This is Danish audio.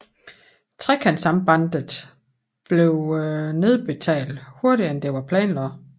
Trekantsambandet bliver nedbetalt hurtigere end det var planlagt